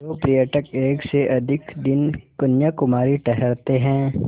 जो पर्यटक एक से अधिक दिन कन्याकुमारी ठहरते हैं